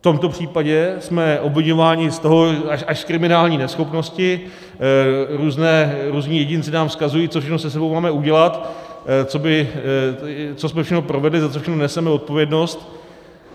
V tomto případě jsme obviňováni z až kriminální neschopnosti, různí jedinci nám vzkazují, co všechno se sebou máme udělat, co jsme všechno provedli, za co všechno neseme odpovědnost.